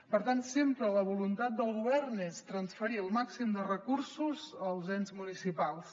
per tant sempre la voluntat del govern és transferir el màxim de recursos als ens municipals